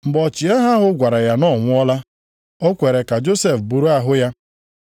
Mgbe ọchịagha ahụ gwara ya na ọ nwụọla, o kwere ka Josef buru ahụ ya.